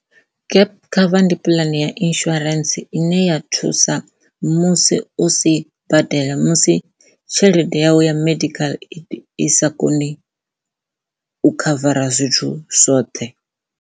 Gap cover ndi puḽane ya insurance ine ya thusa musi u si badela musi tshelede yawe ya medical aid i sa koni u khavara zwithu zwoṱhe.